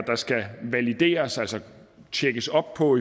der skal valideres altså tjekkes op på